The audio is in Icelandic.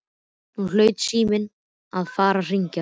Nú hlaut síminn að fara að hringja.